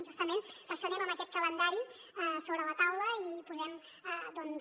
justament per això anem amb aquest calendari sobre la taula i posem doncs